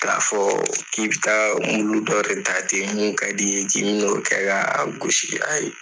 K'a fɔ k'i bi taa dɔ de ta ten mun ka di i ye k'i bi n'o kɛ ka gosi a ye.